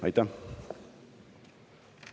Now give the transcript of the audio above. Aitäh!